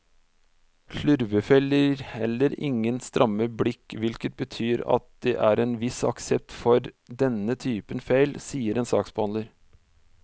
Slurvefeil gir heller ingen stramme blikk, hvilket betyr at det er en viss aksept for denne typen feil, sier en saksbehandler.